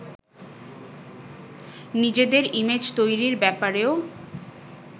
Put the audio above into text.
নিজেদের ইমেজ তৈরির ব্যাপারেও